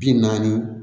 Bi naani